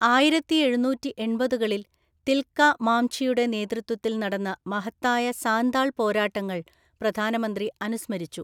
ആയിരത്തിഎഴുനൂറ്റിഎണ്‍പതുകളിൽ തിൽക മാംഝിയുടെ നേതൃത്വത്തിൽ നടന്ന മഹത്തായ സാന്താൾ പോരാട്ടങ്ങൾ പ്രധാനമന്ത്രി അനുസ്മരിച്ചു.